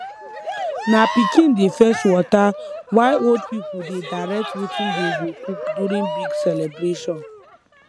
na pikin dey fetch water while old people dey direct wetin dey go cook during big celebration